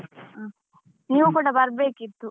ಹಾ ನೀವು ಕುಡಾ ಬರ್ಬೇಕಿತ್ತು.